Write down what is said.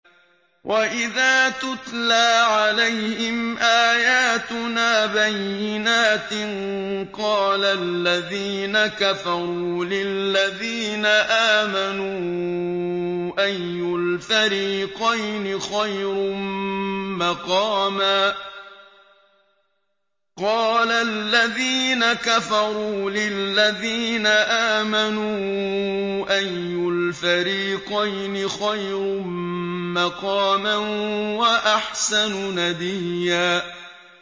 وَإِذَا تُتْلَىٰ عَلَيْهِمْ آيَاتُنَا بَيِّنَاتٍ قَالَ الَّذِينَ كَفَرُوا لِلَّذِينَ آمَنُوا أَيُّ الْفَرِيقَيْنِ خَيْرٌ مَّقَامًا وَأَحْسَنُ نَدِيًّا